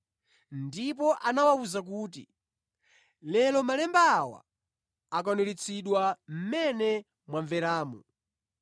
ndipo anawawuza kuti, “Lero malemba awa akwaniritsidwa mmene mwamveramu.”